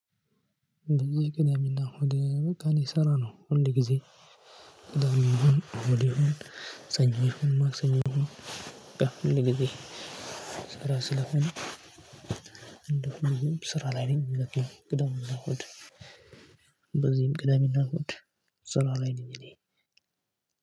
እንደዚህ ቅዳሜና እሁድ እኔ ስራ ነውሁልጊዜ ቅዳሜ ይሁን እሁድ ይሁን ሰኞ ይሁን ማሰኞ ይሁን ሁል ጊዜ ስራ ስለሆነ እንደሆነ ስራ ላይ ነኝ። ቅዳሜ እና እሁድ በዚህም ቅዳሜና እሁድ ስራ ላይ ነው። እኔ